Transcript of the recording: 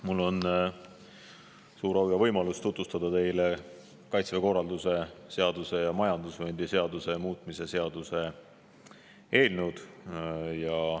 Mul on suur au ja võimalus tutvustada teile Kaitseväe korralduse seaduse ja majandusvööndi seaduse muutmise seaduse eelnõu.